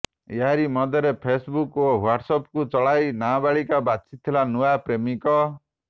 ଏହାରି ମଧ୍ୟରେ ଫେସ୍ବୁକ୍ ଓ ହ୍ୱାଟ୍ସ ଆପ୍ ଚଳାଇ ନାବାଳିକା ବାଛିଥିଲା ନୂଆ ପ୍ରେମିକ